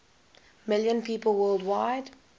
million people worldwide